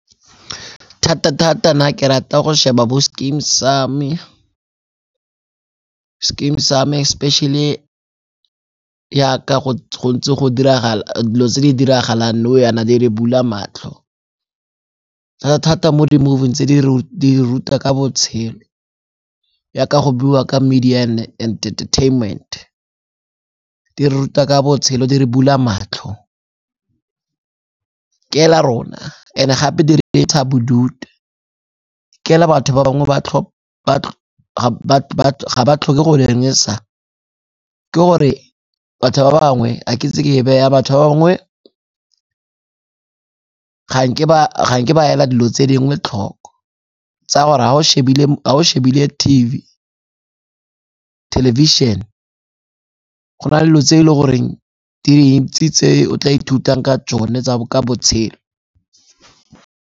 Thata-thata nna ke ra go sheba bo Skeem Saam-e. Skeem Saam-e especially yaka dilo tse di diragalang nou yana di re bula matlho. Thata-thata mo di-movie-ing tse di re ruta ka botshelo yaka go buiwa ka media and entertainment. Di re ruta ka botshelo, di re bula matlho ke la rona and-e gape di re bodutu. Ke la batho ba bangwe ga ba tlhoke go dirisa, ke gore batho ba bangwe a ke ise ke e beye yang, batho ba bangwe ga nke ba ela dilo tse dingwe tlhoko tsa gore ha o shebile thelebišene, go na le dilo tse e le goreng di dintsi tse o tla ithutang ka tsone ka botshelo.